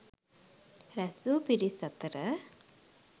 රැස්වූ පිරිස් අතර